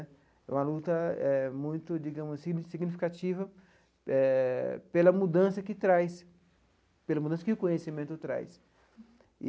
É uma luta eh muito, digamos, signi significativa eh pela mudança que traz, pela mudança que o conhecimento traz.